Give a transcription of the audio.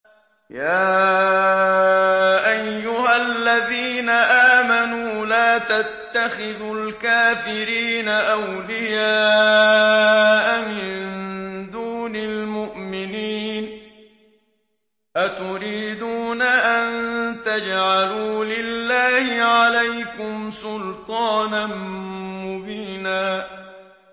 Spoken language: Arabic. يَا أَيُّهَا الَّذِينَ آمَنُوا لَا تَتَّخِذُوا الْكَافِرِينَ أَوْلِيَاءَ مِن دُونِ الْمُؤْمِنِينَ ۚ أَتُرِيدُونَ أَن تَجْعَلُوا لِلَّهِ عَلَيْكُمْ سُلْطَانًا مُّبِينًا